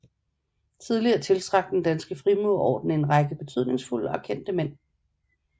Tidligere tiltrak Den Danske Frimurerorden en række betydningsfulde og kendte mænd